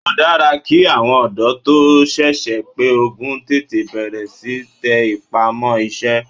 Ó dára ki àwọn ọ̀dọ́ tó sẹ̀sẹ̀ pé ogún tètè bẹ̀rẹ̀ síí tẹ ipá mọ́ iṣẹ́.